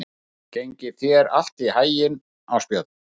Gangi þér allt í haginn, Ásbjörn.